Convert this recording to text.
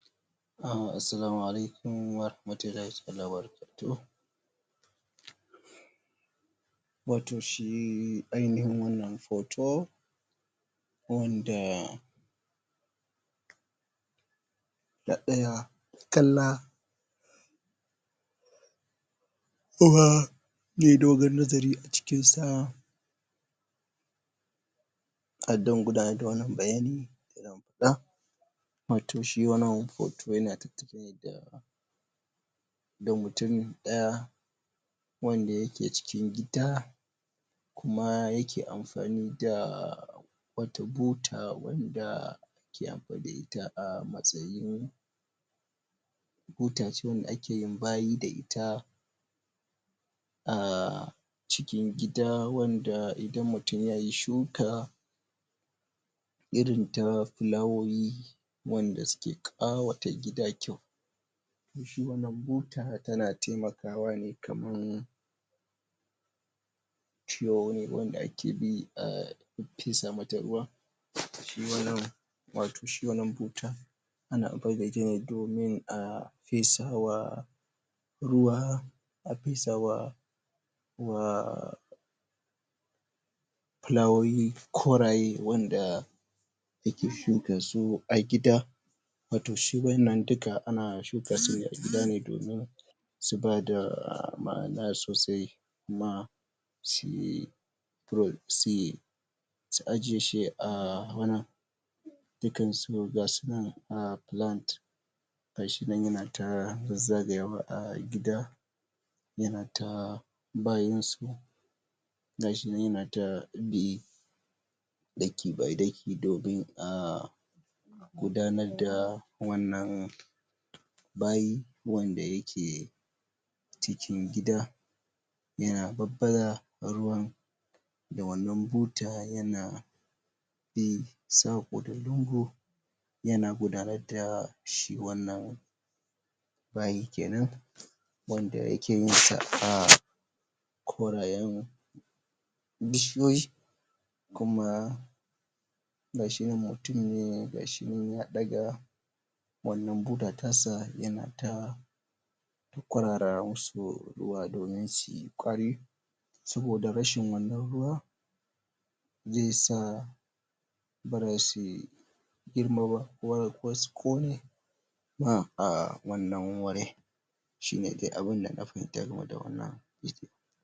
Assalamualaikum warahmatullahi wabarakatuh watau shi ainihin wanna foto wanda na daya kalla kuma mai dogon nazari a cikn sa a da wannan bayani na watau shi wannan hoto da mutum daya wanda ya ke cikin gida kuma ya ke amfani da wata buta wanda ya ta a matsayin buta cikin wanda ake yin bayi da ita a cikin gida wanda idan mutum ya yi shuka irin ta flawoyi wanda su ke kawo watau gida kyau shi wannan buta ta na taimakawa kaman wanda ake bi a fesa mata ruwa watau shi wannan buta ana amfani da ita domin a fesa wa ruwa a fesa wa wa flawoyi wan da ake shuka su a gida watau shi wayanan duka ana shuka su ne a gida ne domin su ba da ma'ana sosai ma shi su ajiyeshi a wani dukan su gasu nan a plant ]cs] gashi nan ya na ta zagaya wa a gida ya na ta bayansu gashi nan ya na ta bi daki by daki domin a gudannar da wannan bayi wanda ya ke cikin gida ya na babbaza ruwan da wannan buta ya na bi sako da lungu ya na gudanar da shi wannan bayi kenan wanda ya ke yin ta a korayen bishiyoyi kuma gashi nan mutumi na gashi nan ya daga wannan buta ta sa ya na ta kuraran su zuwa domin shi kwarai soboda rashin wannan ruwa zai sa girma ba kasko ne ma a wannan wuri shi ne dai abun da na fahimta ga me wannan.